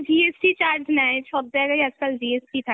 GST charge নেয়, সব জায়গায়ই আজকাল GST থাকে